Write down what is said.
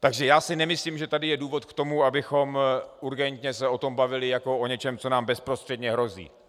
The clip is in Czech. Takže já si nemyslím, že tady je důvod k tomu, abychom urgentně se o tom bavili jako o něčem, co nám bezprostředně hrozí.